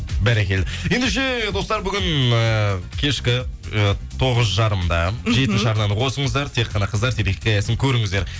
бәрекелді ендеше достар бүгін ыыы кешкі ы тоғыз жарымда мхм жетінші арнаны қосыңыздер тек қана қыздар телехикаясын көріңіздер